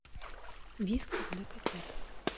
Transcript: вискас для котят